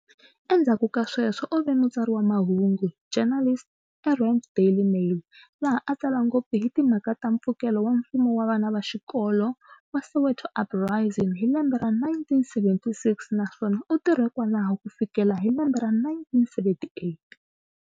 Endzhaku ka sweswo u ve mutsari wa mahungu, journalist, e "Rand Daily Mail" laha a tsala ngopfu hi timhaka ta mpfukelo wa mfumo wa vana va xikolo wa Soweto uprising hi lembe ra 1976 na swona u tirhe kwalaho ku fikela hi lembe ra 1978.